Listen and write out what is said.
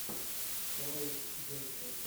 саутгемптон